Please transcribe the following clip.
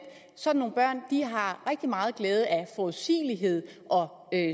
sådan nogle børn har rigtig meget glæde af forudsigelighed og